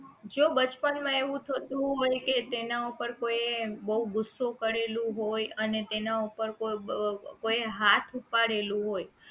જો બચપન માં એવું થતું હોય કે તેના ઉપર કોઈએ બહુ ગુસ્સો કરેલું હોય અને તેના ઉપર બ કોઈએ હાથ ઉપાડેલો હોય